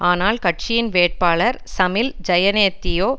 ஆனால் கட்சியின் வேட்பாளர் சமில் ஜயனெத்தியோ